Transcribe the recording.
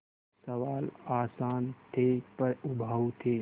सवाल आसान थे पर उबाऊ थे